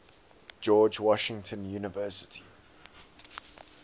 george washington university